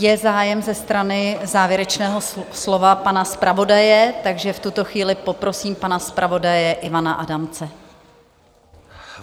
Je zájem ze strany závěrečného slova pana zpravodaje, takže v tuto chvíli poprosím pana zpravodaje Ivana Adamce.